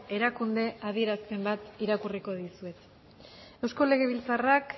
erakunde adierazpen bat irakurriko dizuet eusko legebiltzarrak